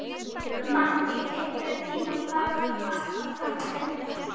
Mattý, einhvern tímann þarf allt að taka enda.